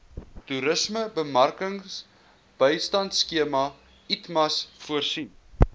toerismebemarkingbystandskema itmas voorsien